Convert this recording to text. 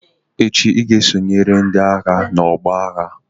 echi unu ga-esonyere ndi-agha n'ọgbọ agha!